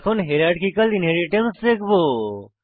এখন hierarchical inheritance দেখবো